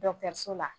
so la